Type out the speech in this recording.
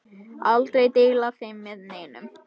Aldrei deila þeim með neinum.